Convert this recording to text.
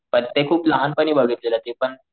ते खूप लहान पाणी बघतील ते पण,